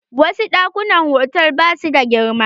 Wasu ɗakunan hotal ba su da girma.